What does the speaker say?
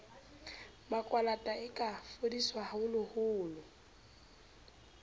makwalata e ka fodiswa haholoholo